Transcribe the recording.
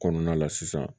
Kɔnɔna la sisan